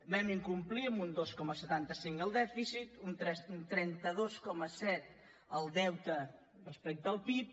vam incomplir amb un dos coma setanta cinc el dèficit un trenta dos coma set el deute respecte al pib